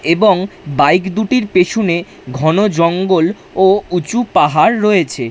এবং বাইক দুটির পেছনে ঘন জঙ্গল ও উঁচু পাহাড় রয়েছে।